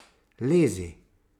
Lezi!